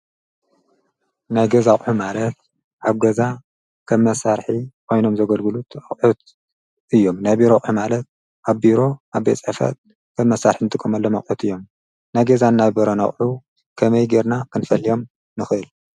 ናይ ገዛ ኣቑሑ ማለት ኣብ ገዛ ከም መሳርሒ ኮይኖም ዘገልግሉ ጥረ ኣቑሑ እዮም፡፡ ናይ ቢሮ ኣቑሑ ኣብ ቢሮ ኣብ ቤት ፅሕፈት ከም መሳርሒ ንጥቀመሎም ኣቑሑት እዮም፡፡ ናይ ገዛን ናይ ቢሮን ኣቑሑ ከመይ ጌርና ክንፈልዮም ንኽእል?